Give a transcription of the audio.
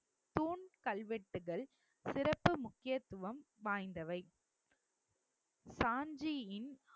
தூண் கல்வெட்டுகள் சிறப்பு முக்கியத்துவம் வாய்ந்தவை சாஞ்சியின்